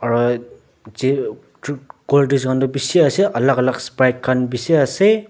aro colddrinks khan tu bishi ase alak alak sprits khan bishi ase.